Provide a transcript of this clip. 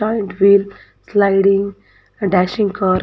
Joint wheel sliding dashing car .